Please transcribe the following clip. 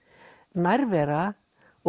nærvera